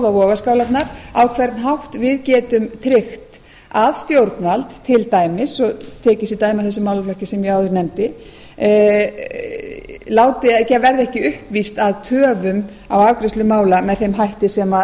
vogarskálarnar á hvern hátt við getum tryggt að stjórnvald til dæmis og tek ég sem dæmi af þessum málaflokki sem ég áður nefndi verði ekki uppvíst að töfum á afgreiðslu mála með þeim hætti